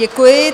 Děkuji.